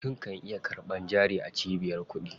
Mutum kan iya karɓan jari a cibiyar kuɗi.